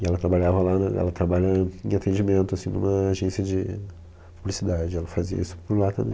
E ela trabalhava lá na, ela trabalha em atendimento, assim, numa agência de publicidade, ela fazia isso por lá também.